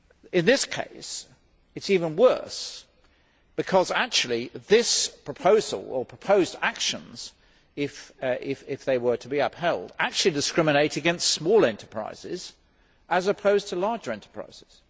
In this case, it is even worse, because this proposal or proposed actions, if they were to be upheld actually discriminates against small enterprises as opposed to larger enterprises.